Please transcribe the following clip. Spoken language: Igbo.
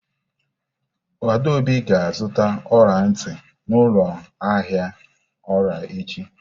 Adaobi ga-azụta ọla ntị n'ụlọ ahịa ọla echi.